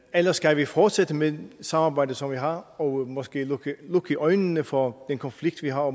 eller skal vi fortsætte med samarbejdet som vi har og måske lukke øjnene for den konflikt vi har og